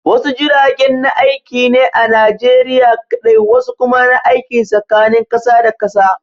Wasu jiragen na aiki ne a Najeriya kaɗai, wasu kuma na aiki tsakanin kasa da kasa.